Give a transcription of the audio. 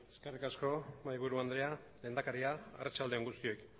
eskerrik asko mahaiburu andrea lehendakaria arratsalde on guztioi bueno